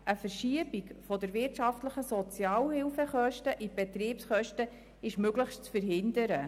Eine Verschiebung der wirtschaftlichen Sozialhilfekosten in die Betriebskosten ist möglichst zu verhindern.